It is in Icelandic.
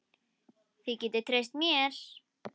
Þið getið treyst mér.